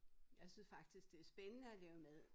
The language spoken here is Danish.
Jeg synes faktisk det spændende at lave mad